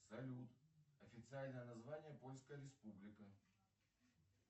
салют официальное название польская республика